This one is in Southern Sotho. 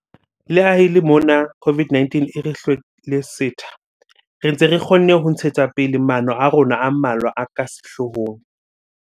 Le ha e le mona COVID-19 e re hlwele setha, re ntse re kgonne ho ntshetsa pele maano a rona a mmalwa a ka sehloohong.